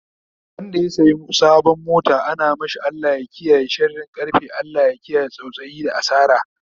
Wanda ya saya sabon mota ana mashi Allah ya kiyaye sharin karfe, Allah ya kiyaye tsautsayi da asara